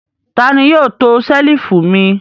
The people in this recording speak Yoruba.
Ta ni yóò to ṣẹ́lífù mi?